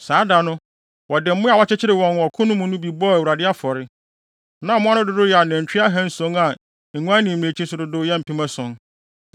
Saa da no, wɔde mmoa a wɔkyekyeree wɔn ɔko mu no bi bɔɔ Awurade afɔre. Na mmoa no dodow yɛ anantwi ahanson a nguan ne mmirekyi nso dodow yɛ mpem ason.